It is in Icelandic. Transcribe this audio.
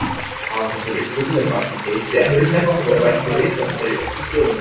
Hafa þessar uppgötvanir vakið geisi-eftirtekt og er rætt og ritað um þær í öllum blöðum.